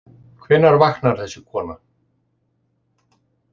Hvenær vaknar þessi kona?